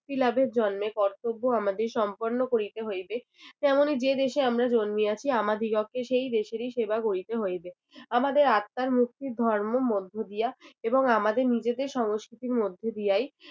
লাভের জন্মে কর্তব্য আমাদের সম্পন্ন করিতে হইবে তেমনি যে দেশে আমরা জন্মিয়াছি আমাদিগকে সেই দেশেরই সেবা করিতে হইবে আমাদের আত্মার মুক্তি ধর্মের মধ্য দিয়া এবং আমাদের নিজেদের সংস্কৃতির মধ্য দিয়াই